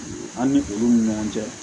An ni olu ni ɲɔgɔn cɛ